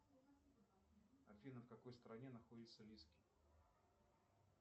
афина в какой стране находится лиски